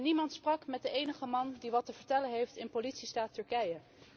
Niemand sprak met de enige man die wat te vertellen heeft in politiestaat Turkije.